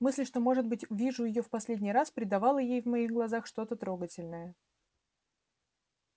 мысль что может быть вижу её в последний раз придавала ей в моих глазах что-то трогательное